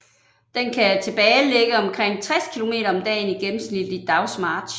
Den kan tilbagelægge omkring 60 km om dagen i gennemsnitlig dagsmarch